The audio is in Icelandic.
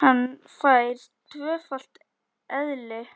Hann fær tvöfalt eðli.